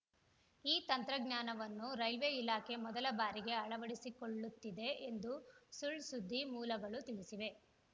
ಈ ತಂತ್ರಜ್ಞಾನವನ್ನು ರೈಲ್ವೆ ಇಲಾಖೆ ಮೊದಲ ಬಾರಿಗೆ ಅಳವಡಿಸಿಕೊಳ್ಳುತ್ತಿದೆ ಎಂದು ಸುಳ್‌ ಸುದ್ದಿ ಮೂಲಗಳು ತಿಳಿಸಿವೆ